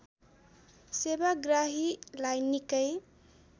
सेवाग्राहीलाई निकै